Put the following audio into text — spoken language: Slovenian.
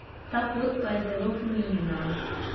Ta pot pa je zelo fluidna.